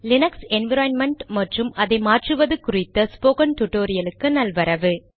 Linux environment மற்றும் அதை மாற்றுவது குறித்த ஸ்போகன் டுடோரியலுக்கு நல்வரவு